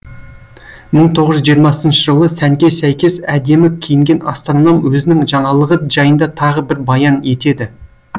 мың тоғыз жүз жиырмасыншы жылы сәнге сәйкес әдемі киінген астроном өзінің жаңалығы жайында тағы бір баян етеді